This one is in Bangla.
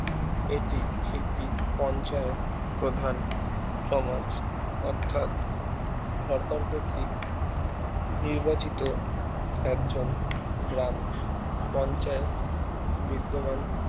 এটি একটি পঞ্চায়েত প্রধান সমাজ অর্থাৎ সরকার কতৃক নির্বাচিত একজন গ্রাম পঞ্চায়েত নিদ্দমান